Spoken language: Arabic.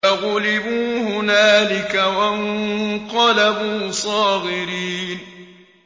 فَغُلِبُوا هُنَالِكَ وَانقَلَبُوا صَاغِرِينَ